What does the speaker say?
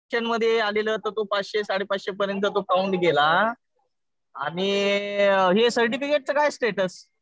शन मध्ये आलेलं. तर तो पाचशे साडे पाचशे पर्यंत तो काऊंट गेलेला. आणि हे सर्टिफिकिटचं काय स्टेटस?